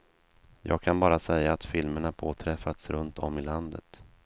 Jag kan bara säga att filmerna påträffats runt om i landet.